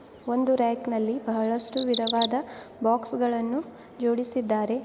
ಒಂದು ರಾಕ್ನಲ್ಲಿ ಬಹಳಷ್ಟು ವಿಧವಾದ ಬಾಕ್ಸ್ ಗಳನ್ನು ಜೋಡಿಸಿದ್ದಾರೆ.